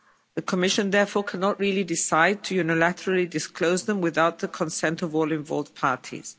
The Commission, therefore, cannot really decide to unilaterally disclose them without the consent of all involved parties.